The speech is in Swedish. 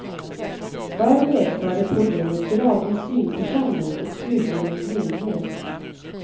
Förr medförde problemet gradvis synförsämring och slutligen blindhet.